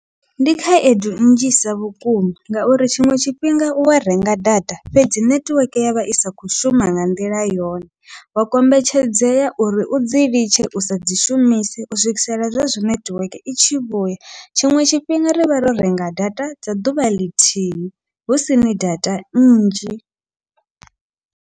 Ndi khaedu nnzhisa vhukuma, ngauri tshiṅwe tshifhinga uwa renga data fhedzi nethiweke yavha isa kho shuma nga nḓila yone, wa kombetshedzea uri udzi litshe usa dzi shumise u swikisela zwezwo nethiweke i tshi vhuya tshiṅwe tshifhinga rivha ro renga data dza ḓuvha ḽithihi husini data nnzhi.